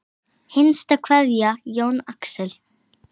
Hinsta kveðja Jón Axel.